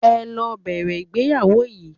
Ẹ lọ bẹ̀rẹ̀ ìgbéyàwó yín.